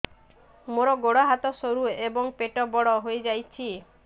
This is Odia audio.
ମୋର ଗୋଡ ହାତ ସରୁ ଏବଂ ପେଟ ବଡ଼ ହୋଇଯାଇଛି